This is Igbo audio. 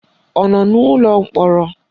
Ọ nọ n'ụlọ mkpọrọ?